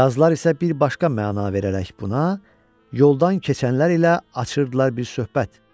Qazlar isə bir başqa məna verərək buna, yoldan keçənlər ilə açırdılar bir söhbət.